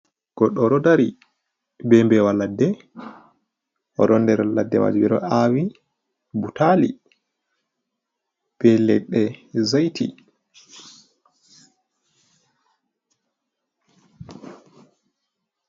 Goɗɗo oɗo dari be mbewa ladde, oɗo nder laɗɗe majum ɓeɗo awii butali be leɗɗe zaiti.